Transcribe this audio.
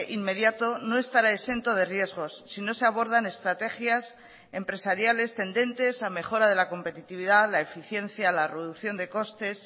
inmediato no estará exento de riesgos si no se abordan estrategias empresariales tendentes a mejora de la competitividad la eficiencia la reducción de costes